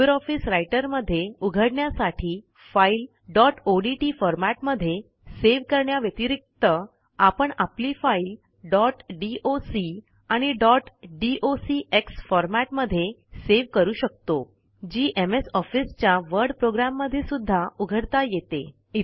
Libre office Writer मध्ये उघडण्यासाठी फाईलdot ओडीटी फॉरमॅटमध्ये सेव्ह करण्या व्यतिरिक्त आपण आपली फाईल डॉट डॉक आणि डॉट डॉक्स फॉरमॅटमध्ये सेव्ह करू शकतो जी एमएस Officeच्या वर्ड प्रोग्रॅम मध्ये सुध्दा उघडता येते